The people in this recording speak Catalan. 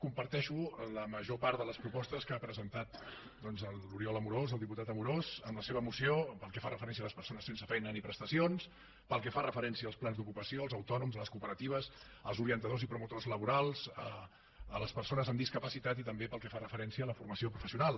comparteixo la major part de les propostes que ha presentat l’oriol amorós el diputat amorós amb la seva moció pel que fa referència a les persones sense feina ni prestacions pel que fa referència als plans d’ocupació als autònoms a les cooperatives als orientadors i promotors laborals a les persones amb discapacitat i també pel que fa referència a la formació professional